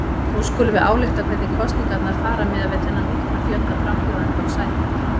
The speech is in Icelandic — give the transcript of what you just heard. Nú skulum við álykta hvernig kosningarnar fara miðað við þennan mikla fjölda frambjóðenda og sæta.